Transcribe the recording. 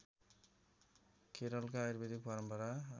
केरलका आयुर्वेद परम्परा